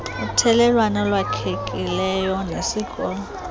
uthelelwano olwakhekileyo nesikolo